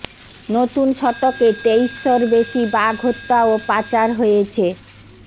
নতুন শতকে তেইশ শর বেশি বাঘ হত্যা ও পাচার হয়েছে